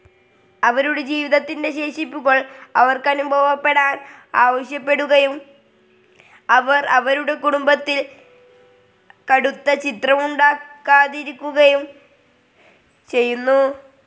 അവരുടെ ജീവിതത്തിൻ്റെ ശേഷിപ്പുകൾ അവർക്കനുഭവപ്പെടാൻ ആവശ്യപ്പെടുകയും അവർ അവരുടെ കുടുംബത്തിൽ കടുത്ത ചിത്രമുണ്ടാക്കാതിരിക്കുകയും ചെയ്യുന്നു.